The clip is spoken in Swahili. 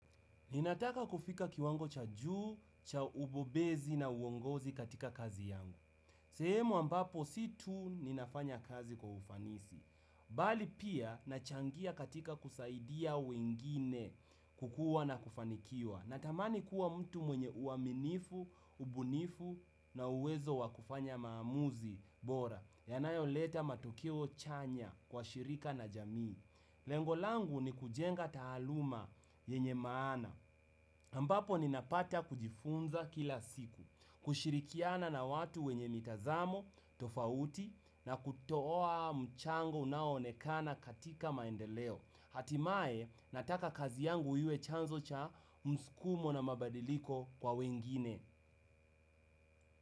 Ninataka kufika kiwango cha juu, cha ubobezi na uongozi katika kazi yangu. Sehemu ambapo si tu ninafanya kazi kwa ufanisi. Bali pia nachangia katika kusaidia wengine kukuwa na kufanikiwa. Natamani kuwa mtu mwenye uaminifu, ubunifu na uwezo wa kufanya maamuzi bora. Yanayoleta matokeo chanya kwa shirika na jamii. Lengo langu ni kujenga taaluma yenye maana. Ambapo ninapata kujifunza kila siku, kushirikiana na watu wenye mitazamo, tofauti na kutoa mchango unaonekana katika maendeleo. Hatimaye nataka kazi yangu iwe chanzo cha mskumo na mabadiliko kwa wengine.